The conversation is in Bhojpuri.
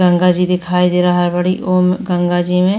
गंगा जी दिखाई दे रहा बाड़ी। ओम् गंगा जी में --